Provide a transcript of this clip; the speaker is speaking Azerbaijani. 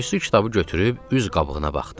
Aysu kitabı götürüb üz qabığına baxdı.